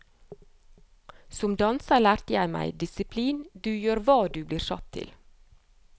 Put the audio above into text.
Som danser lærte jeg meg disiplin, du gjør hva du blir satt til.